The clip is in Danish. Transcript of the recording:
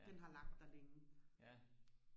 den har lagt der længe